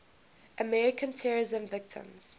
american terrorism victims